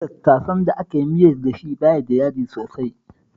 Tattasan da aka yi miyar da shi ba shi da yaji sosai